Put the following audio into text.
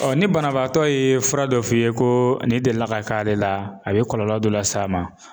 ni banabaatɔ ye fura dɔ f'i ye ko nin delila ka k'ale la a be kɔlɔlɔ dɔ las'a ma